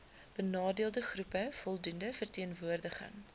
benadeeldegroepe voldoende verteenwoordiging